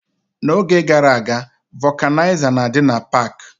N'oge gara aga, vokanaiza na-adị na pak.